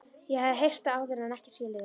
Ég hafði heyrt það áður en ekki skilið það.